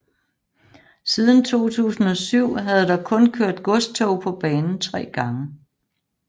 Siden 2007 havde der kun kørt godstog på banen 3 gange